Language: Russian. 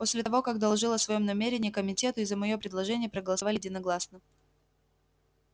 после того как доложил о своём намерении комитету и за моё предложение проголосовали единогласно